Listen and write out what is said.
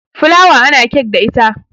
fulawa ana kek da ita